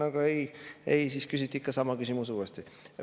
Aga ei – küsiti ikka sama küsimus uuesti.